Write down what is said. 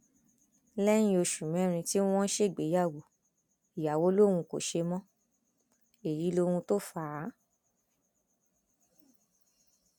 lẹyìn oṣù mẹrin tí wọn ṣègbéyàwó ìyàwó lòun kò ṣe mọ èyí lóhun tó fà á